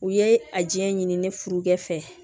U ye a jɛ ɲini ne furukɛ fɛ